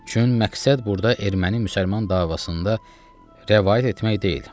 Çün məqsəd burda erməni-müsəlman davasında rəvayət etmək deyil.